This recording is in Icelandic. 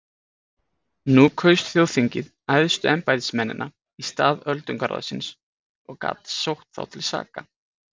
Nú kaus þjóðþingið æðstu embættismennina í stað öldungaráðsins og gat sótt þá til saka.